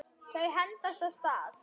Þau hendast af stað.